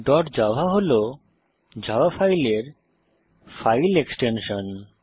dot Java হল Java ফাইলের file extension